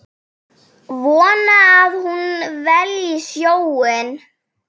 Vonar að hún velji sjóinn.